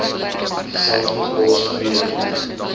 dieselfde pos weer